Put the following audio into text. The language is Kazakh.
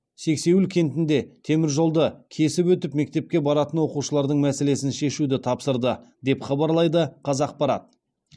сексеуіл кентінде теміржолды кесіп өтіп мектепке баратын оқушылардың мәселесін шешуді тапсырды деп хабарлайды қазақпарат